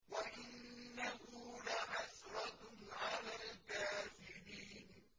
وَإِنَّهُ لَحَسْرَةٌ عَلَى الْكَافِرِينَ